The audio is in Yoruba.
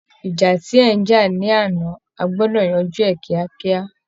ìjà tí ẹ ń jà lánàá, ẹ gbọ́dọ̀ yanjú ẹ̀ kíákíá!